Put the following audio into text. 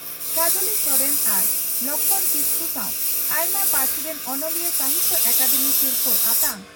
ᱠᱟᱡᱽᱞᱤ ᱥᱚᱨᱮᱱ ᱟᱨ ᱞᱚᱠᱷᱢᱚᱬ ᱠᱤᱥᱠᱩ ᱥᱟᱣ ᱟᱭᱢᱟ ᱯᱟᱹᱨᱥᱤ ᱨᱤᱱ ᱚᱱᱚᱞᱤᱭᱟᱹ ᱥᱟᱦᱤᱛᱭᱚ ᱟᱠᱟᱫᱮᱢᱤ ᱥᱤᱨᱯᱷᱟᱹ ᱟᱛᱟᱝ